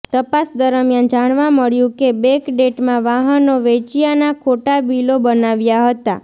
તપાસ દરમિયાન જાણવા મળ્યું કે બેકડેટમાં વાહનો વેચ્યાના ખોટા બિલો બનાવ્યા હતા